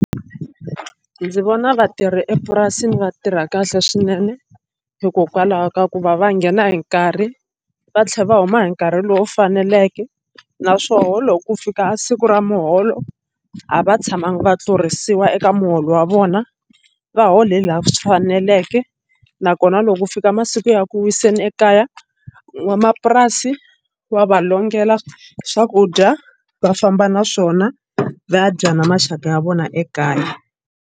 Ndzi vona vatirhi epurasini va tirha kahle swinene hikokwalaho ka ku va va nghena hi nkarhi va tlhela va huma hi nkarhi lowu faneleke naswona loko ku fika siku ra muholo a va tshamanga va tlurisiwa eka muholo wa vona va hola hi laha swi faneleke nakona loko ko fika masiku ya ku wiseni ekaya n'wamapurasi wa va longela swakudya va famba na swona va ya dya na maxaka ya vona ekaya.